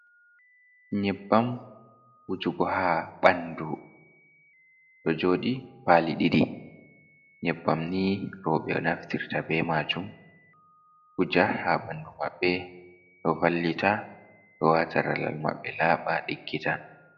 Nyebbam wujugo ha ɓandu, ɗo joɗi pali ɗiɗi nyebbam ni roɓe naftirta be majun, huja ha ɓandu maɓɓe ɗo vallita ɗo wata laral maɓɓe laɓa diggita.